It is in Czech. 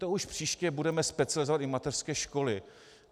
To už příště budeme specializovat i mateřské školy.